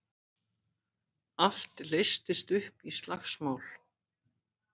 Allt leystist upp í slagsmál.